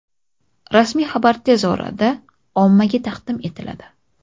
Rasmiy xabar tez orada ommaga taqdim etiladi.